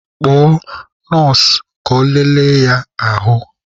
Kpọọ nọọsụ ka ọ lere ya ahụ!